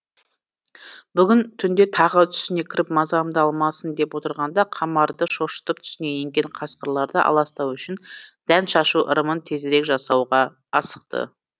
бүгін түнде тағы түсіне кіріп мазамды алмасын деп отырғанда қамарды шошытып түсіне енген қасқырларды аластау үшін дән шашу ырымын тезірек жасауға асықты